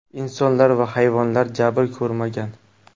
Insonlar va hayvonlar jabr ko‘rmagan.